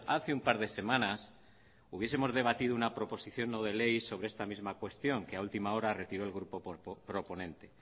hace un par de semanas hubiesemos debatido una proposición no de ley sobre esta misma cuestión que a última hora retiró el grupo proponente